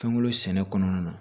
Fɛnkolo sɛnɛ kɔnɔna na